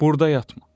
Burada yatma!